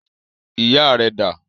Ìyá rẹ dà?